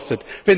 Euro kostet.